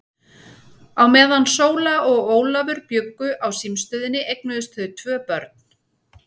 Á meðan Sóla og Ólafur bjuggu á símstöðinni eignuðust þau tvö börn.